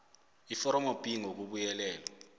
iforomo b ngokubuyelelwe